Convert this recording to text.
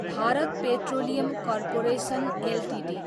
Bharat petroleum corporation Ltd